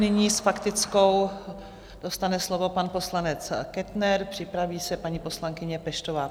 Nyní s faktickou dostane slovo pan poslanec Kettner, připraví se paní poslankyně Peštová.